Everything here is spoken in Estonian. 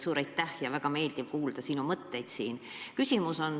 Suur aitäh – on olnud väga meeldiv sinu mõtetest kuulda.